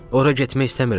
Ora getmək istəmirəm.